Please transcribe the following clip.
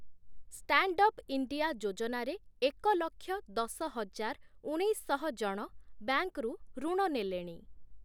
Standup India ଯୋଜନାରେ ଏକ ଲକ୍ଷ ଦଶ ହଜାର ଉଣେଇଶଶହ ଜଣ ବ୍ୟାଙ୍କରୁ ଋଣ ନେଲେଣି ।